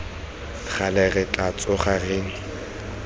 gale re tla tsoga re